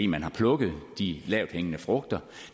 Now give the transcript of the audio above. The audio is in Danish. man har plukket de lavthængende frugter